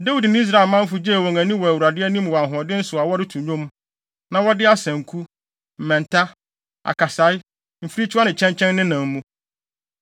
Dawid ne Israel manfo gyee wɔn ani wɔ Awurade anim wɔ ahoɔden so a wɔreto nnwom, na wɔde asanku, mmɛnta, akasae, mfirikyiwa ne kyɛnkyɛn nenam mu.